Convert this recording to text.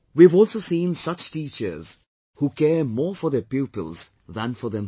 We have also seen such teachers who care more for their pupils than for themselves